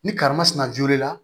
Ni karimasina jolen na